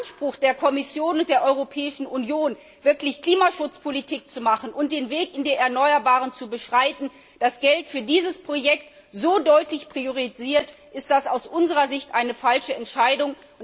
Wenn man den Anspruch der Kommission und der Europäischen Union ernst nimmt, wirklich Klimaschutzpolitik zu betreiben und den Weg in die erneuerbaren Energien zu beschreiten, das Geld für dieses Projekt aber so deutlich priorisiert, ist das aus unserer Sicht eine falsche Entscheidung.